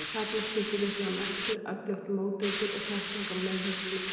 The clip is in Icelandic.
Þarna skiptir líklega mestu öflugt móteitur og þekking á meðhöndlun bita.